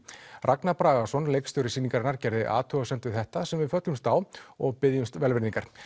Ragnar Bragason leikstjóri sýningarinnar gerði athugasemd við þetta sem við föllumst á og biðjumst velvirðingar